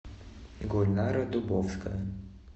гульнара дубовская